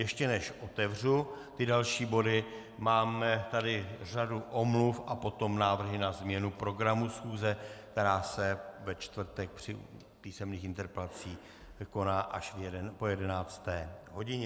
Ještě než otevřu ty další body, máme tady řadu omluv a potom návrhy na změnu programu schůze, která se ve čtvrtek při písemných interpelacích koná až po jedenácté hodině.